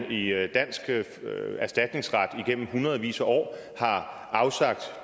i dansk erstatningsret igennem hundredvis af år afsagt